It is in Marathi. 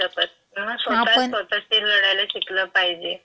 सांगू नाही शकत, म्हणून स्वतःच स्वतःची लढायला शिकलं पाहिजे. आपण.